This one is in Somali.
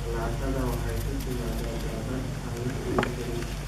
Jalaatada waxay ku timaadaa dhadhan aan la tirin karin.